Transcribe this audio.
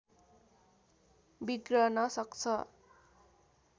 बिग्रन सक्छ